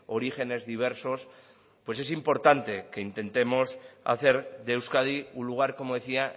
orígenes diversos pues es importante que intentemos hacer de euskadi un lugar como decía